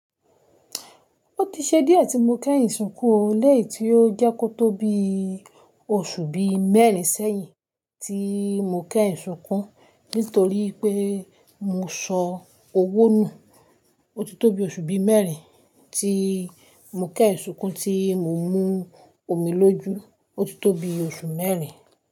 Ó ti ṣe díẹ̀ tí mo kẹ́ sunkú o, léyìí tí ó jẹ́ kó tó bí oṣù bí mẹ́rin sẹ́yìn tí mo kẹ́yin sunkún nítorí pé mo sọ owó nù. Ó ti tó bi oṣù bí mẹ́rin tí mo kẹ́yin sunkún tí mo mú omi lójú, ó ti tó bi oṣù mẹ́rin.